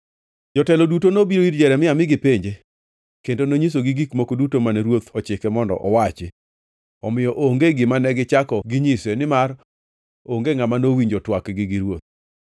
Jotelo duto nobiro ir Jeremia mi gipenje, kendo nonyisogi gik moko duto mane ruoth ochike mondo awachi. Omiyo onge gima negichako ginyise, nimar onge ngʼama nowinjo twakgi gi ruoth.